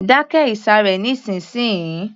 Dákẹ́ ìsàré nísìnsiyìí